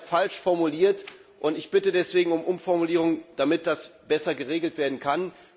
Leider ist er falsch formuliert, und ich bitte deswegen um Umformulierung, damit das besser geregelt werden kann.